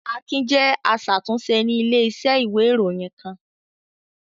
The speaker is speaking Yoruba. Akin jẹ́ aṣàtúnṣe ní ilé-iṣẹ́ ìwé-ìròyìn kan.